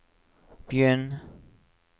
begynn